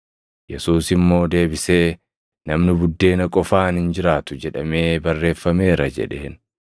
Yesuus immoo deebisee, “ ‘Namni buddeena qofaan hin jiraatu’ + 4:4 \+xt KeD 8:3\+xt* jedhamee barreeffameera” jedheen.